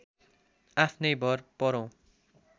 आफ्नै भर परौँ